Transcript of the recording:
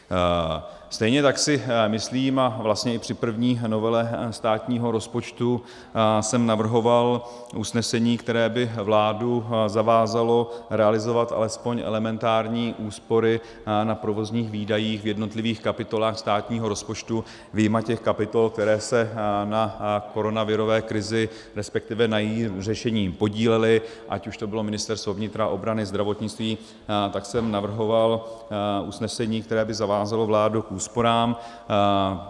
Stejně tak si myslím, a vlastně i při první novele státního rozpočtu jsem navrhoval usnesení, které by vládu zavázalo realizovat alespoň elementární úspory na provozních výdajích v jednotlivých kapitolách státního rozpočtu vyjma těch kapitol, které se na koronavirové krizi, respektive na jejím řešení podílely, ať už to byla ministerstvo vnitra, obrany, zdravotnictví, tak jsem navrhoval usnesení, které by zavázalo vládu k úsporám.